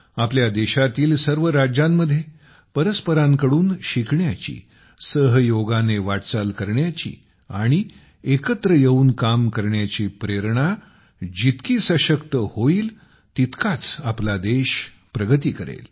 आपल्या देशातील सर्व राज्यांमध्ये परस्परांकडून शिकण्याची सहयोगाने वाटचाल करण्याची आणि एकत्र येऊन काम करण्याची प्रेरणा जितकी सशक्त होईल तितकाच आपला देश प्रगती करेल